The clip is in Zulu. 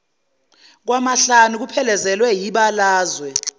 kwamahlanu kuphelezelwe yibalazwe